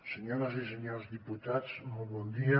senyores i senyores diputats molt bon dia